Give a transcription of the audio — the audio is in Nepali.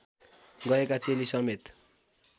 गएका चेली समेत